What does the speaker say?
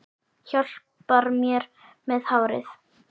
Hjálpar mér með hárið!